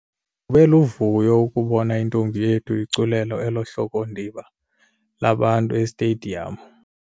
Kube luvuyo ukubona intombi yethu iculela elo hlokondiba labantu esitediyamu.